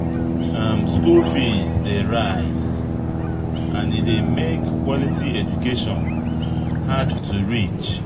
School fees dey rise, and e dey make quality education hard to reach.